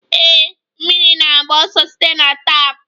Ee, mmiri na-agba ọsọ site na tap.